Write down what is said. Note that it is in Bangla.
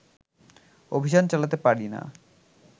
অভিযান চালাতে পারিনা